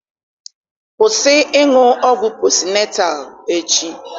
Kwụsị ịṅụ ọgwụ posịnetal echi!